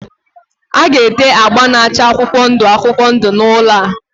A ga-ete agba na-acha akwụkwọ ndụ akwụkwọ ndụ n'ụlọ a.